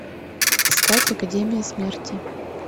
искать академия смерти